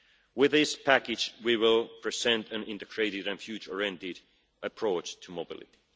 year. With this package we will present an integrated and future-oriented approach to mobility.